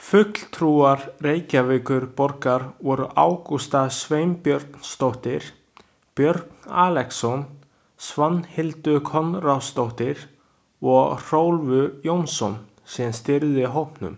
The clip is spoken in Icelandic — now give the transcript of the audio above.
Fulltrúar Reykjavíkurborgar voru Ágústa Sveinbjörnsdóttir, Björn Axelsson, Svanhildur Konráðsdóttir og Hrólfur Jónsson sem stýrði hópnum.